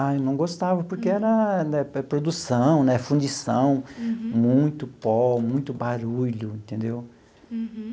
Ah, eu não gostava, porque era né produção né, fundição, muito pó, muito barulho, entendeu? Uhum.